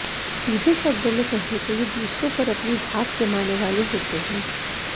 सीधे शब्दों में कहें तो ये दूसरों पर अपनी धाक जमाने वाले होते हैं